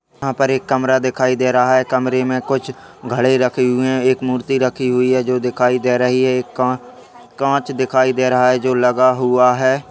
यहां पर एक कमरा दिखाई दे रहा है कमरे में कुछ घड़ी रखे हुई हैं एक मूर्ति रखी हुई है जो दिखाई दे रही है एक कां कांच दिखाई दे रहा है जो लगा हुआ है।